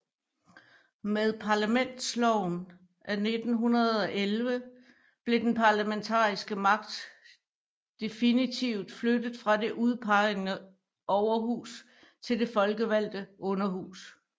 Med Parlamentsloven af 1911 blev den parlamentariske magt definitivt flyttet fra det udpegede Overhus til det folkevalgte Underhus